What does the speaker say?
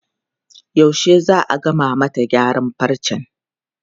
Yaushe za a gama mata gyaran farcen?